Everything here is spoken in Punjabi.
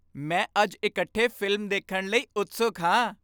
ਮੈਂ ਅੱਜ ਇਕੱਠੇ ਫ਼ਿਲਮ ਦੇਖਣ ਲਈ ਉਤਸੁਕ ਹਾਂ।